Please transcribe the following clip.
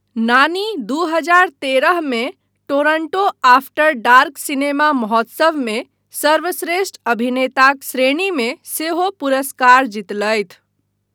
नानी दू हजार तेरहमे टोरंटो आफ्टर डार्क सिनेमा महोत्सवमे सर्वश्रेष्ठ अभिनेताक श्रेणीमे सेहो पुरस्कार जीतलथि।